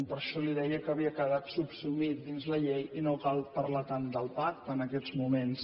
per això li deia que havia quedat subsumit dins la llei i no cal parlar tant del pacte en aquests moments